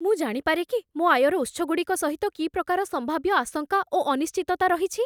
ମୁଁ ଜାଣିପାରେ କି ମୋ ଆୟର ଉତ୍ସଗୁଡ଼ିକ ସହିତ କି ପ୍ରକାର ସମ୍ଭାବ୍ୟ ଆଶଙ୍କା ଓ ଅନିଶ୍ଚିତତା ରହିଛି?